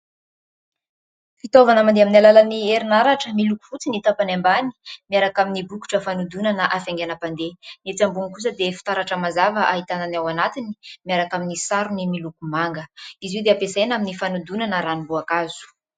Fitaovana mandeha min'ny alalan'ny herinaratra miloko fotsy ny tapany ambany miaraka amin'ny bokotra fanodonana hafainganam-pandeha. Etsy ambony kosa dia fitaratra mazava ahitana ny ao anatiny miaraka amin'ny sarony miloko manga. Izy io dia ampiasaina amin'ny fanodinana ranomboakazo.